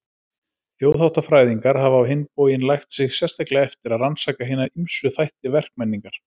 Þjóðháttafræðingar hafa á hinn bóginn lagt sig sérstaklega eftir að rannsaka hina ýmsu þætti verkmenningar.